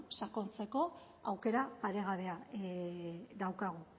sakontzeko aukera paregabea daukagu